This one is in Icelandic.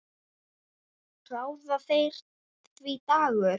Ráða þeir því, Dagur?